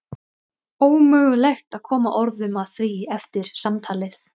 Ómögulegt að koma orðum að því eftir samtalið.